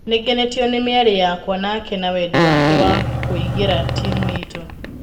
Nĩgenetio nĩ mĩari yakwa nake na wedi wake wa kũigira timũ yitũ.